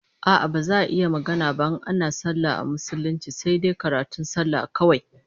A'a, baza a yi magana ba in ana sallah a musulunce sai dai karatun sallar kawai